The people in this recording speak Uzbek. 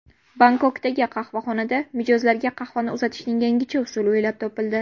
Bangkokdagi qahvaxonada mijozlarga qahvani uzatishning yangicha usuli o‘ylab topildi.